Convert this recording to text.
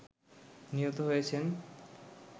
নিহত হয়েছেন